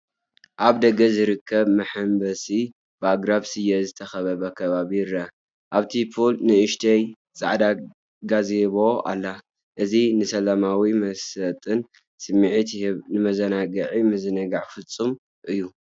ኣብ ደገ ዝርከብ መሐንበሲን ብኣግራብ ስየ ዝተኸበበ ከባቢን ይርአ። ኣብቲ ፑል ንእሽቶ ጻዕዳ ጋዜቦ ኣላ። እዚ ንሰላማውን መሳጥን ስምዒት ይህብ፣ ንመዘናግዕን ምዝንጋዕን ፍጹም እዩ።